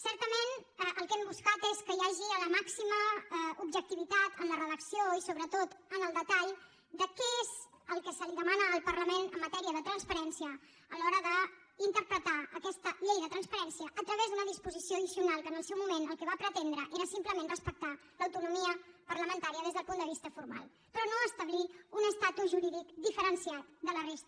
certament el que hem buscat és que hi hagi la màxima objectivitat en la redacció i sobretot en el detall de què és el que se li demana al parlament en matèria de transparència a l’hora d’interpretar aquesta llei de transparència a través d’una disposició addicional que en el seu moment el que va pretendre era simplement respectar l’autonomia parlamentària des del punt de vista formal però no establir un estatus jurídic diferenciat de la resta